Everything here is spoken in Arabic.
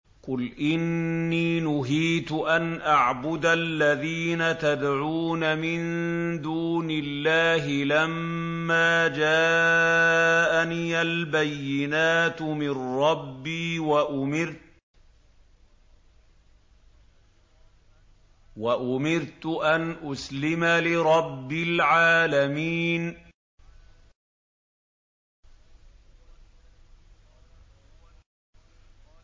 ۞ قُلْ إِنِّي نُهِيتُ أَنْ أَعْبُدَ الَّذِينَ تَدْعُونَ مِن دُونِ اللَّهِ لَمَّا جَاءَنِيَ الْبَيِّنَاتُ مِن رَّبِّي وَأُمِرْتُ أَنْ أُسْلِمَ لِرَبِّ الْعَالَمِينَ